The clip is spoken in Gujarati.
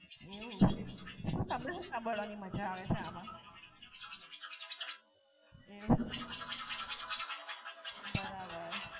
એવું? તમને શું સાંભળવાની માજા આવે છે આમ? એવું? બરાબર.